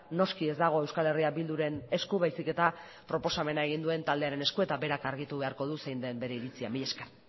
noski ez dago euskal herria bilduren esku baizik eta proposamena egin duen taldearen esku eta berak argitu beharko du zein den bere iritzia mila esker